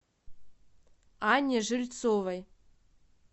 анне жильцовой